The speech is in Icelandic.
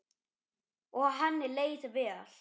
Og henni leið vel.